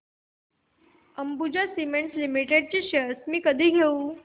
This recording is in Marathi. अंबुजा सीमेंट लिमिटेड शेअर्स मी कधी घेऊ